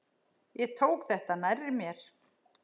Ég tók þetta nærri mér.